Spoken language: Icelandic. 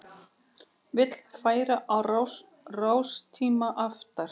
Vill færa rástíma aftar